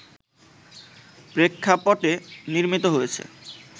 প্রেক্ষাপটে নির্মিত হয়েছে